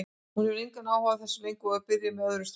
Hún hefur engan áhuga á þér lengur og er byrjuð með öðrum strák.